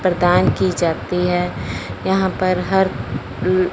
प्रदान की जाती है यहां पर हर अह--